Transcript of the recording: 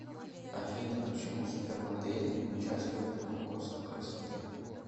афина почему супермодели не участвуют в конкурсах красоты